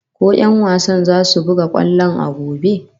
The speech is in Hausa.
Ko 'yan wasan zasu buga kwallon a gobe?